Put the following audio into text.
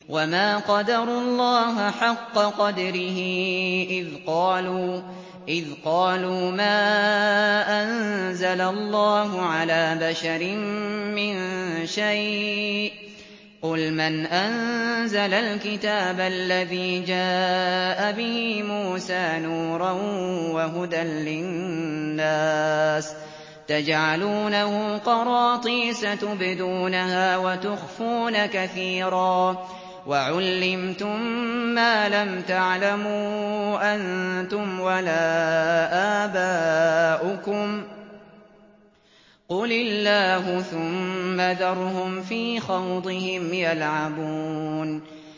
وَمَا قَدَرُوا اللَّهَ حَقَّ قَدْرِهِ إِذْ قَالُوا مَا أَنزَلَ اللَّهُ عَلَىٰ بَشَرٍ مِّن شَيْءٍ ۗ قُلْ مَنْ أَنزَلَ الْكِتَابَ الَّذِي جَاءَ بِهِ مُوسَىٰ نُورًا وَهُدًى لِّلنَّاسِ ۖ تَجْعَلُونَهُ قَرَاطِيسَ تُبْدُونَهَا وَتُخْفُونَ كَثِيرًا ۖ وَعُلِّمْتُم مَّا لَمْ تَعْلَمُوا أَنتُمْ وَلَا آبَاؤُكُمْ ۖ قُلِ اللَّهُ ۖ ثُمَّ ذَرْهُمْ فِي خَوْضِهِمْ يَلْعَبُونَ